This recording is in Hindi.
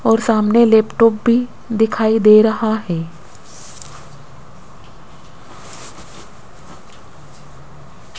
और सामने लैपटॉप भी दिखाई दे रहा है।